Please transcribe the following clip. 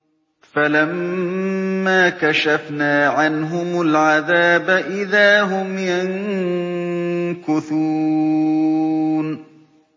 فَلَمَّا كَشَفْنَا عَنْهُمُ الْعَذَابَ إِذَا هُمْ يَنكُثُونَ